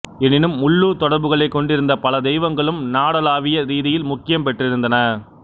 எனினும் உள்ளூர் தொடர்புகளைக் கொண்டிருந்த பல தெய்வங்களும் நாடளாவிய ரீதியில் முக்கியம் பெற்றிருந்தன